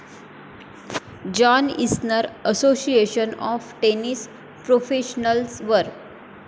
John Isner Association of Tennis Professionals वर.